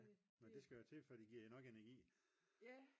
og det skal der til før de giver nok energi